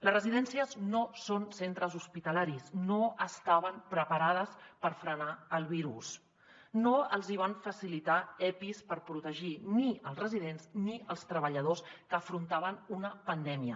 les residències no són centres hospitalaris no estaven preparades per frenar el virus no els hi van facilitar epis per protegir ni els residents ni els treballadors que afrontaven una pandèmia